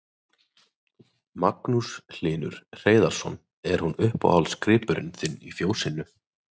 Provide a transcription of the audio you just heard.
Magnús Hlynur Hreiðarsson: Er hún uppáhaldsgripurinn þinn í fjósinu?